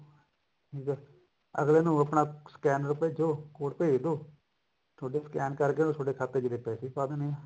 ਠੀਕ ਐ ਅੱਗਲੇ ਨੂੰ ਆਪਣਾ scanner ਭੇਜੋ code ਭੇਜ ਦੋ ਥੋਡਾ scan ਕਰਕੇ ਥੋਡੇ ਖਾਤੇ ਚ ਅੱਗਲੇ ਨੇ ਪੈਸੇ ਪਾ ਦੇਣੇ ਨੇ